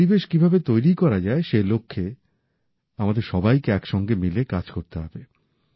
এই পরিবেশ কিভাবে তৈরি করা যায় সে লক্ষ্যে আমাদের সবাইকে একসঙ্গে মিলে কাজ করতে হবে